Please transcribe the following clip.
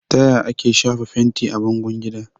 Taya ake shafa fenti a bangon gida?